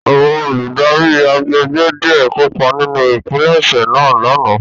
Àwọn oludari àgbégbé diẹ kopa ninu ipilẹṣẹ naa lana